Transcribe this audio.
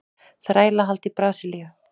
Þrælahald í Brasilíu.